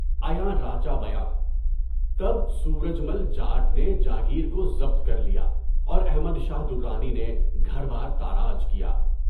(عیاں راجہ بیان) تب سورج مل جاٹ نے جاگیر کو ضبط کر لیا۔ اور احمد شاہ درانی نے گڑھیار تاراج کیا۔